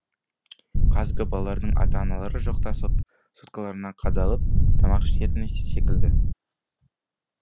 қазіргі балалардың ата аналары жоқта соткаларына қадалып тамақ ішетіні секілді